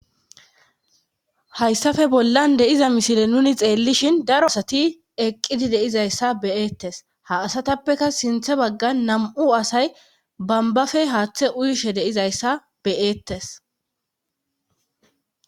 hayssafe bollan deiza misile nuni xeellishin daro asati eqqidi deizayssa be'eettes ha asatappeka sinthe baggan nam7u asay bambafe haaththe uyishe deizayssa bey'eettes